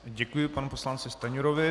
Děkuji panu poslanci Stanjurovi.